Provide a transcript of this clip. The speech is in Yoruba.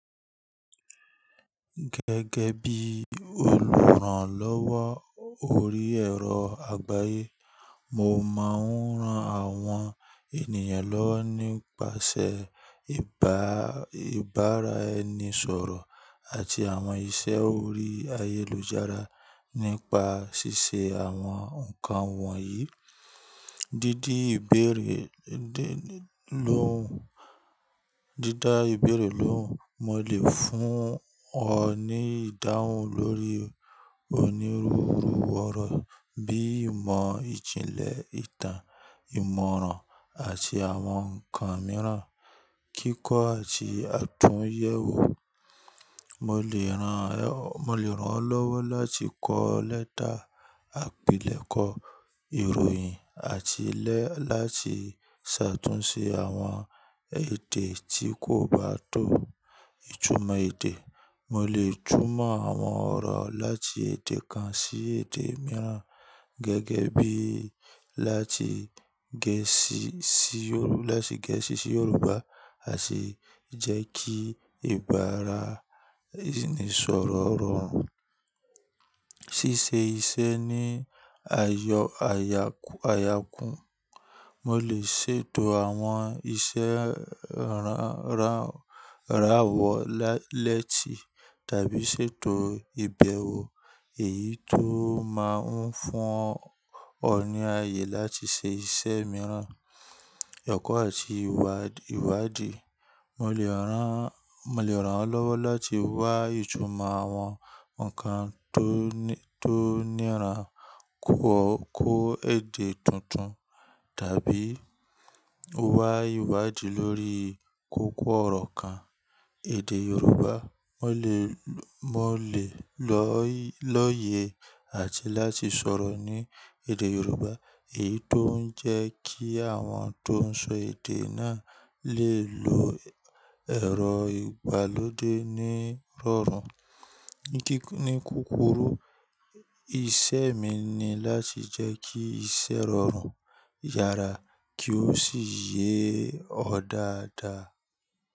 Gẹ́gẹ́ bí olùrànlọ́wọ́ orí ẹ̀rọ àgbáyé, mo máa ń ran àwọn ènìyàn lọ́wọ́ nípasẹ̀ ìbára ẹni sọ̀rọ̀ àti àwọn iṣẹ́ orí ayélujára. Nípa ṣíṣe àwọn nǹkan wọ̀nyí, dídá ìbéèrè lóhùn, mo lè fún ọ ní ìdáhùn lórí onírúurú ọ̀rọ̀ bíi ìmọ̀ ìjìnlẹ̀ ìtàn, ìmọ̀ràn àti àwọn nǹkan mìíràn. Kíkọ́ àti àtúnyẹ̀wò, mo lè ràn ọ́ lọ́wọ́ láti kọ lẹ́tà, àpilẹ̀kọ ìròyìn àti lé láti ṣàtúnṣe àwọn èdè tí kò bá tọ́. Ìtumọ̀ èdè, mo lè túmọ̀ àwọn ọ̀rọ̀ láti èdè kan sí èdè mìíràn gẹ́gẹ́ bí láti Gẹ̀ẹ́sì sí Yorùbá àti jẹ́ kí ìbára ẹni sọ̀rọ̀ rọrùn. Ṣíṣe iṣẹ́ ní àyọ àyákún, mo lè ṣètò àwọn iṣẹ́ ìrànwọ́ lẹ́ti tàbí ṣètò ìbẹ̀wò èyí tó máa ń fún ọ ní ayé láti ṣe iṣẹ́ mìíràn. Ọkọ̀ àti ìwádìí, mo lè ràn ọ́ lọ́wọ́ láti wá ìtumọ̀ àwọn nǹkan tó níran kọ́ èdè tuntun tàbí wá ìwádìí lórí kókó ọ̀rọ̀ kan. Èdè Yorùbá, mo lè lóye àti láti sọ̀rọ̀ ní èdè Yorùbá èyí tó ń jẹ́ kí àwọn tó ń sọ èdè náà lè lo ẹ̀rọ ìgbàlódé ní rọrùn. Ní kúrúkù, ìṣe mi ni láti jẹ́ kí iṣẹ́ rọrùn yára kí ó sì yé ọ dáadáa.